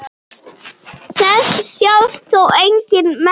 Þess sjást þó engin merki.